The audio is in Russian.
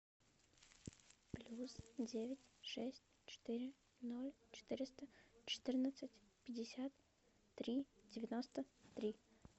плюс девять шесть четыре ноль четыреста четырнадцать пятьдесят три девяносто три